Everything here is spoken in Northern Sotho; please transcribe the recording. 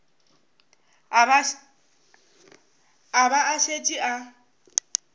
a ba a šetše a